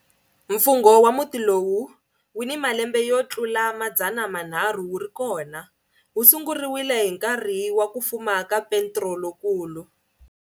Mfungho wa muti lowu wu ni malembe yo tlula 300 wu ri kona, wu sunguriwe hi nkarhi wa ku fuma ka Petro Lonkulu.